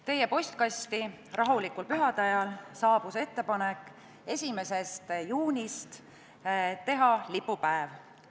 Teie postkasti saabus rahulikul pühade ajal ettepanek teha 1. juunist lipupäev.